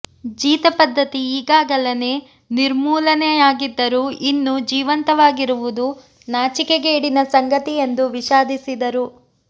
ಜೀತಪದ್ಧತಿ ಈಗಾಗಲೇ ನಿರ್ಮೂಲನೆ ಯಾಗಿದ್ದರೂ ಇನ್ನೂ ಜೀವಂತವಾಗಿರುವುದು ನಾಚಿಕೆಗೇಡಿನ ಸಂಗತಿ ಎಂದು ವಿಷಾದಿಸಿದರು